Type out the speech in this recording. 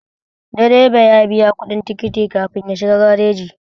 Direba ya biya kuɗin tikiti kafin ya shiga gareji